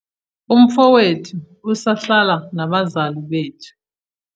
umfowethu usahlala nabazali bethu